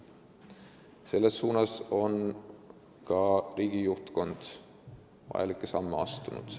Selles suunas on riigi juhtkond ka vajalikke samme astunud.